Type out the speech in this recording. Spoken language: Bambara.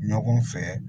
Ɲɔgɔn fɛ